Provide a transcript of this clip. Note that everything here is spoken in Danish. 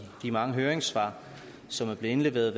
de mange høringssvar som er blevet indleveret